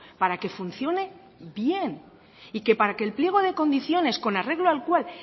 para que funcione bien y que para que el pliego de condiciones con arreglo al cual